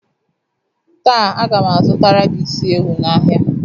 Taa a ga m azụtara gị isi ewu n'ahịa